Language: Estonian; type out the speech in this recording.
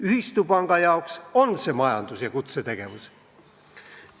Ühistupanga jaoks see on majandus- ja kutsetegevus.